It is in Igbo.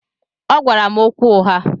Ọgwara m okwu ụgha.